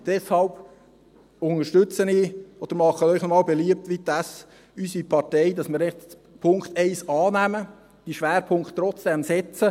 Deshalb unterstütze ich es oder mache Ihnen noch einmal beliebt, wie unsere Partei, dass wir den Punkt 1 annehmen, diese Schwerpunkte trotzdem setzen.